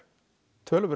töluverður